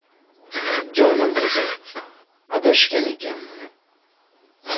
Jonim qizim, adashgan ekanman.